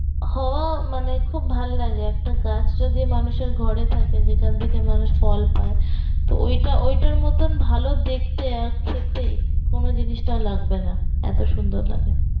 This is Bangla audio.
মানে খুব ভালো লাগে, একটা গাছ যদি মানুষের ঘরে থাকে যেখান থেকে মানুষ ফল পায় তো ঐটা ঐটার মতন ভালো দেখতে আর খেতে কোনো জিনিসটা লাগবে না, এত সুন্দর লাগে